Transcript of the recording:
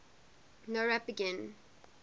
nowrap begin